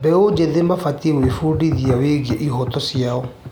Mbeũ njĩthĩ mabatiĩ gwĩbundithia wĩgiĩ ihooto ciao.